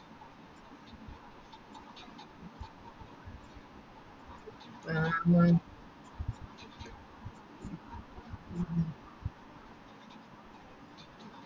ആഹ് ഹ